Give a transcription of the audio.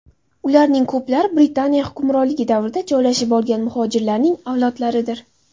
Ularning ko‘plari Britaniya hukmronligi davrida joylashib olgan muhojirlarning avlodlaridir.